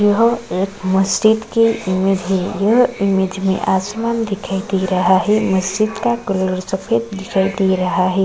यह एक मज़ीद की इमेज है यह इमेज में आसमान दिखाई दे रहा है मस्जिद का कलर सफेद दिखाई दे रहा है।